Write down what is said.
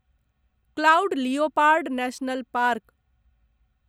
cloud leopard national park